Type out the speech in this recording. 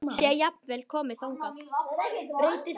Sé jafnvel komið þangað!